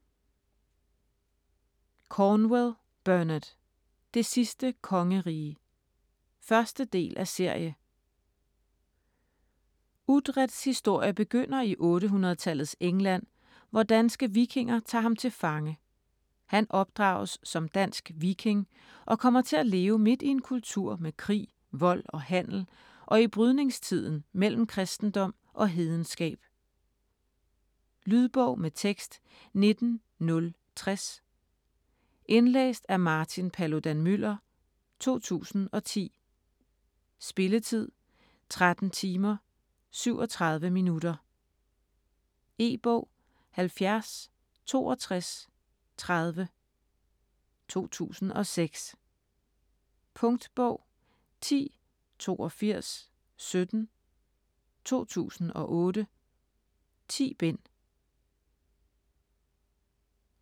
Cornwell, Bernard: Det sidste kongerige 1. del af serie. Uthreds historie begynder i 800-tallets England, hvor danske vikinger tager ham til fange. Han opdrages som dansk viking og kommer til at leve midt i en kultur med krig, vold og handel og i brydningstiden mellem kristendom og hedenskab. Lydbog med tekst 19060 Indlæst af Martin Paludan-Müller, 2010. Spilletid: 13 timer, 37 minutter. E-bog 706230 2006. Punktbog 108217 2008. 10 bind.